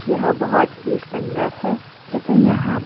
यह बहोत ही सुंदर है तथा यहां--